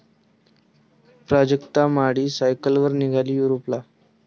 प्राजक्ता माळी सायकलवर निघाली युरोपला!